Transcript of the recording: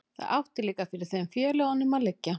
það átti líka fyrir þeim félögunum að liggja